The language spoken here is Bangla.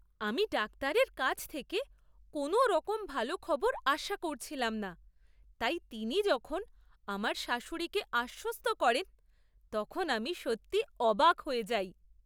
আমি ডাক্তারের কাছ থেকে কোনওরকম ভাল খবর আশা করছিলাম না, তাই তিনি যখন আমার শাশুড়িকে আশ্বস্ত করেন, তখন আমি সত্যিই অবাক হয়ে যাই।